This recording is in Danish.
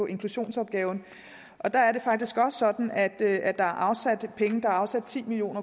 inklusionsopgaven der er det faktisk også sådan at der er afsat penge der er afsat ti million